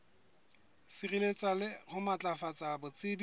sireletsa le ho matlafatsa botsebi